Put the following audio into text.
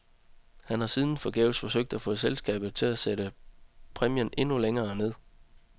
Han har siden forgæves forsøgt at få selskabet til at sætte præmien endnu længere ned.